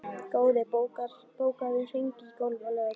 Goði, bókaðu hring í golf á laugardaginn.